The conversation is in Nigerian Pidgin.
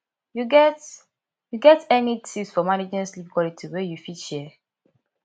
you get you get any tips for managing sleep quality wey you fit share